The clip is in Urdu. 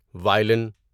وایلن